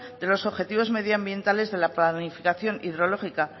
de los objetivos medioambientales de la planificación hidrológica